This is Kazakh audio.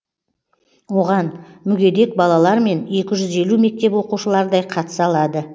оған мүгедек балалар мен екі жүз елу мектеп оқушылардай қатыса алады